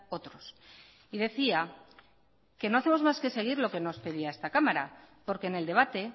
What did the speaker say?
otros y decía que no hacemos más que seguir lo que nos pedía esta cámara porque en el debate